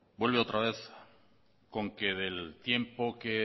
vuelve otra vez con que del tiempo que